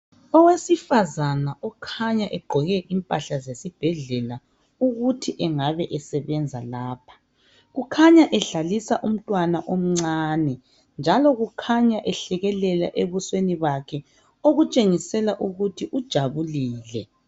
Owesifazana okhanya egqoke impahla zesibhedlela ukuthi engabe esebenza lapha. Kukhanya edlalisa umntwana omncane njalo kukhanya ehlekelela ebusweni bakhe okutshengisela ukuthi ujabulile.